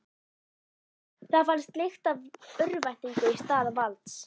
Það fannst lykt af örvæntingu í stað valds.